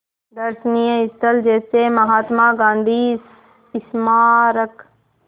दर्शनीय स्थल जैसे महात्मा गांधी स्मारक